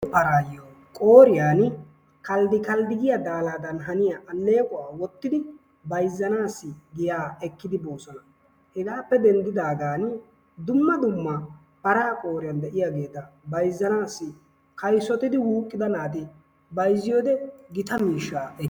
Maraayo qooriyan kaalidi kaalidi giya daalaadan haniya alleeqquwa wottidi bayzzanassi giya ekkidi boossona. Hegaappe denddidaagan dumma dumma paraa qooriyan de'iyageeta bayzzanaassi kayssotiddi wuuqqida naati bayzziyode gita miishshaa ekees.